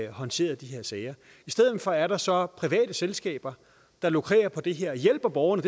håndteret de her sager i stedet for er der så private selskaber der lukrerer på det de hjælper borgerne